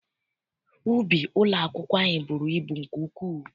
Ubi ụlọakwụkwọ anyị bụrụ ibu nke ukwuu.